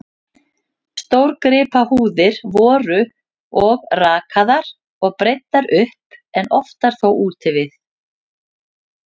Stórgripahúðir voru og rakaðar og breiddar upp, en oftar þó úti við.